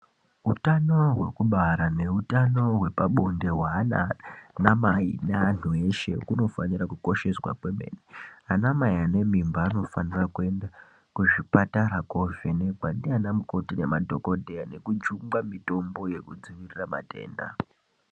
Hutano hwekubara nehutano hwepabonde mwanamai neandu eshe kunofanira kukosheshwa kwemene anamai ane mimba anofanira kuenda kuzvipatara kovhenekwa ndanamukoti nemadhokodheya nekujungwa mitombo yekudzivirira matenda.